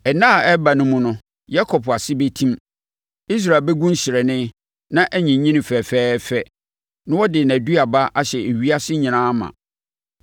Nna a ɛreba no mu no, Yakob ase bɛtim, Israel bɛgu nhyerɛnne na anyini fɛɛfɛɛfɛ na ɔde nʼaduaba ahyɛ ewiase nyinaa ma.